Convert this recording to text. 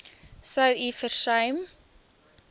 sou u versuim